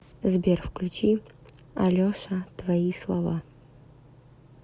сбер включи алеша твои слова